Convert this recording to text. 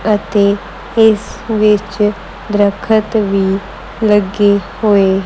ਅਤੇ ਇਸ ਵਿੱਚ ਦਰੱਖਤ ਵੀ ਲੱਗੇ ਹੋਏ।